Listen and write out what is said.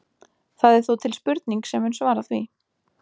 Það er þó til spurning sem mun svara því.